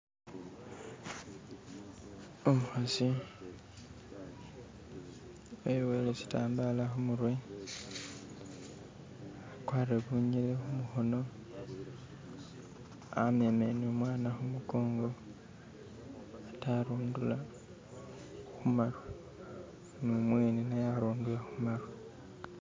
umuhasi eboyele shitambala humurwe akwarire bunyele humuhono amemele numwana humukongo ate arundula humaru numwene naye arundura humaru